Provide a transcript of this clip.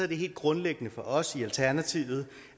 det helt grundlæggende for os i alternativet